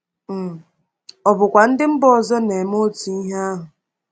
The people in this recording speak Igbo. um Ọ̀ bụkwa ndị mba ọzọ na-eme otu ihe ahụ?